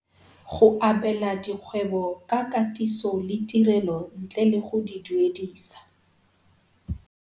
Go abela dikgwebo ka katiso le tirelo ntle le go di duedisa